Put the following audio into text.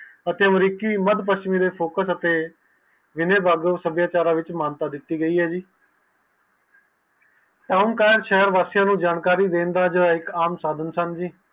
ਅਤੇ ਅਮਰੀਕੀ ਵਾਦ ਪਛਿਮਿ ਦੇ ਪੋਖਤ ਸਮੇਂ ਵਲੋਂ ਸਾਬਿਆਚਾਰਾ ਤੇ ਉਣ ਸ਼ਹਿਰ ਵਾਸੀਆਂ ਨੂੰ ਜਾਣਕਾਰੀ ਦੇਣ ਲਈ ਹੈ